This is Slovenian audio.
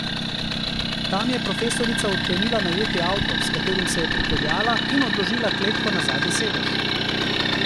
Tam je profesorica odklenila najeti avto, s katerim se je pripeljala, in odložila kletko na zadnji sedež.